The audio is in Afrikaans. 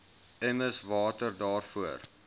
emmers water daarvoor